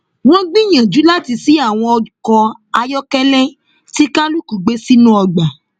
wọn gbìyànjú láti ṣí àwọn ọkọ ayọkẹlẹ tí kálukú gbé sínú ọgbà